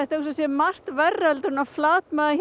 hugsa sér margt verra en að flatmaga